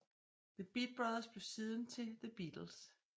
The Beat Brothers blev siden til The Beatles